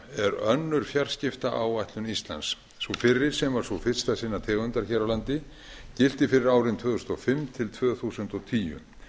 er önnur fjarskiptaáætlun íslands sú fyrri sem var sú fyrsta sinnar tegundar hér á landi gilti fyrir árin tvö þúsund og fimm til tvö þúsund og tíu